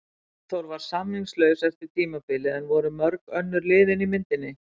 Arnþór var samningslaus eftir tímabilið en voru mörg önnur lið inni í myndinni?